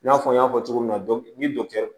I n'a fɔ n y'a fɔ cogo min na ni dɔkitɛri